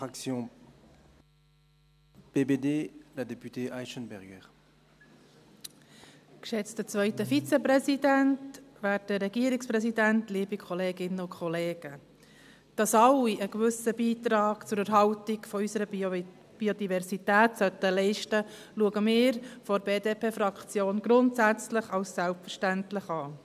Dass alle einen gewissen Beitrag zur Erhaltung unserer Biodiversität leisten sollten, sehen wir von der BDP-Fraktion grundsätzlich als selbstverständlich an.